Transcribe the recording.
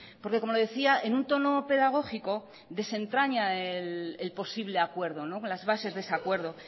porque como decía en un tono pedagógico desentraña el posible acuerdo las bases de ese acuerdo